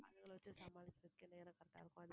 அதுங்களை வெச்சு சமாளிக்கறதுக்கே நேரம் correct ஆ இருக்கும்